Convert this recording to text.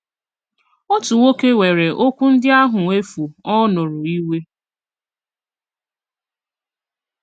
Otu nwòkè wèèrè òkwù ndị àhụ efù ọ̀ nụrụ ìwè.